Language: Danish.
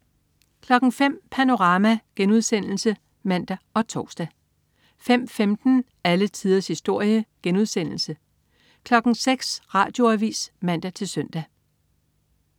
05.00 Panorama* (man og tors) 05.15 Alle tiders historie* 06.00 Radioavis (man-søn)